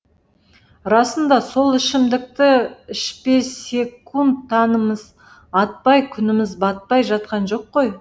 расында сол ішімдікті ішпесек таңымыз атпай күніміз батпай жатқан жоқ қой